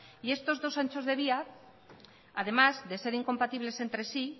y estos dos anchos de vía además de ser incompatibles entre sí